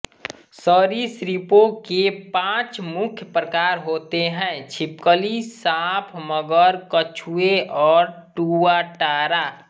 सरीसृपों के पांच मुख्य प्रकार होते हैं छिपकली सांप मगर कछुए और टुआटारा